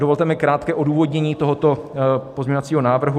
Dovolte mi krátké odůvodnění tohoto pozměňovacího návrhu.